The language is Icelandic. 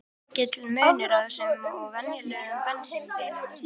En er mikill munur á þessum og venjulegum bensínbíl?